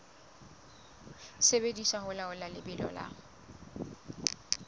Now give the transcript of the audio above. sebediswa ho laola lebelo la